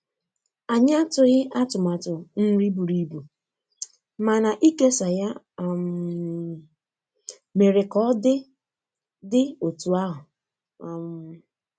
Anyị atụghị atụmatụ nri buru ibu, mana ikesa ya um mere ka ọ dị dị otú ahụ. um